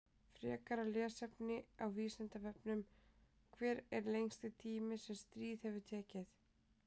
Frekara lesefni á Vísindavefnum: Hver er lengsti tími sem stríð hefur tekið?